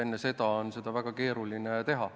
Enne seda on seda väga keeruline teha.